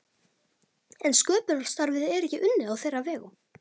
En sköpunarstarfið er ekki unnið á þeirra vegum.